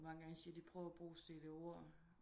Og mange gange siger de prøv at brug CD-ORD